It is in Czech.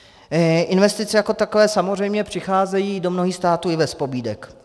Investice jako takové samozřejmě přicházejí do mnohých států i bez pobídek.